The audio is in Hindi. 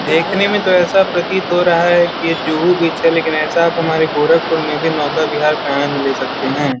देखने में तो ऐसा प्रतीत हो रहा है कि ये जुहू बीच है लेकिन ऐसा आप हमारे गोरखपुर में भी नौका बिहार पे आनंद ले सकते हैं।